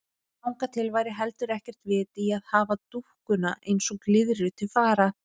Þangað til væri heldur ekkert vit í að hafa dúkkuna eins og glyðru til fara.